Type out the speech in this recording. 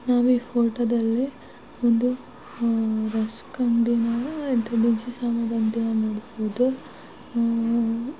ನಾವೇ ಫೋಟೋದಲ್ಲಿ ಒಂದು ರಸ್ಕ್ ಅಂಗಡಿನ ದಿನಸಿ ಸಾಮಾನ್ ಅಂಗಡಿನ ನೋಡಬಹುದು.